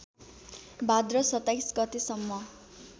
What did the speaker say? भाद्र २७ गतेसम्म